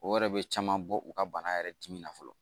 O yɛrɛ bɛ caman bɔ u ka bana yɛrɛ dimi na fɔlɔ